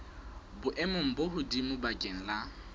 boemong bo hodimo bakeng la